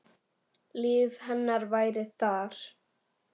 Líf hennar væri þar.